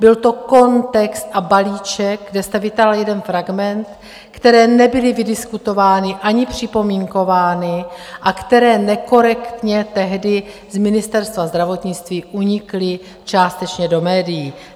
Byl to kontext a balíček, kde jste vytáhl jeden fragment, které nebyly vydiskutovány ani připomínkovány a které nekorektně tehdy z Ministerstva zdravotnictví unikly částečně do médií.